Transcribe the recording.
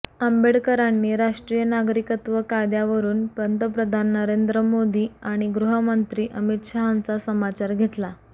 आंबेडकरांनी राष्ट्रीय नागरिकत्व कायद्यावरुन पंतप्रधान नरेंद्र मोदी आणि गृहमंत्री अमित शहांचा समाचार घेतला